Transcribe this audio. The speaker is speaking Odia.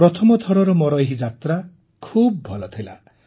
ପ୍ରଥମଥରର ମୋର ଏହି ଯାତ୍ରା ଖୁବ ଭଲ ଥିଲା